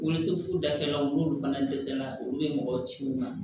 U bɛ se furu dakɛ la u n'olu fana dɛsɛla olu bɛ mɔgɔ ci u ma